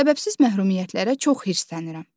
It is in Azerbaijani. Səbəbsiz məhrumiyyətlərə çox hirslənirəm.